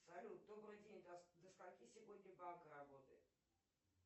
салют добрый день до скольки сегодня банк работает